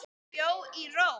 Hann bjó í Róm.